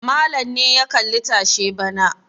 Malam ne ya kalli tashe bana.